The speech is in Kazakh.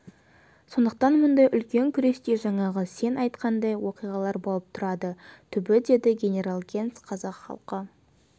сондықтан мұндай үлкен күресте жаңағы сен айтқандай уақиғалар болып тұрады түбі деді генерал генс қазақ халқы